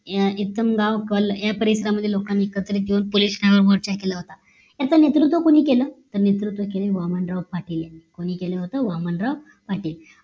इसम गावकल या परिसरामधील लोकांनी एकत्री येऊन पोलिसांवर मोर्चा केले होते याच नेतृत्व कोणी केलं तर नेतृत्व केले वामन राव पाटील यांनी कोणी केले होत वामनराव पाटील